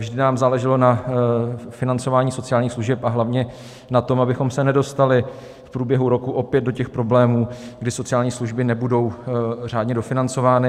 Vždy nám záleželo na financování sociálních služeb a hlavně na tom, abychom se nedostali v průběhu roku opět do těch problémů, kdy sociální služby nebudou řádně dofinancovány.